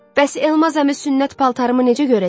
Bəs Elmaz əmi sünnət paltarımı necə görəcək?